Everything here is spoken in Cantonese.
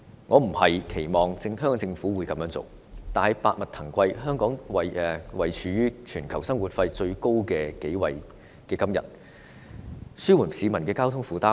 我並非期望香港政府會這樣做，但百物騰貴，香港位列全球生活費最高的城市之一，政府有責任紓緩市民的交通負擔。